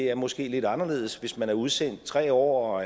er måske lidt anderledes hvis man er udsendt i tre år og